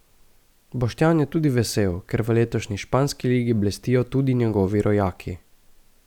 Boštjan je tudi vesel, ker v letošnji španski ligi blestijo tudi njegovi rojaki.